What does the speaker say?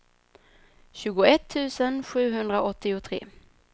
tjugoett tusen sjuhundraåttiotre